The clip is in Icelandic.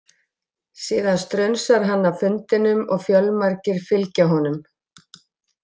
Síðan strunsar hann af fundinum og fjölmargir fylgja honum.